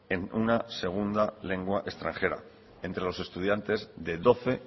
en una segunda lengua extranjera entre los estudiantes de doce